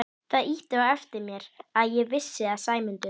Það ýtti á eftir mér að ég vissi að Sæmundur